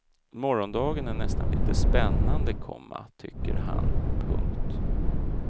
Morgondagen är nästan litet spännande, komma tycker han. punkt